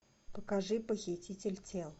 покажи похититель тел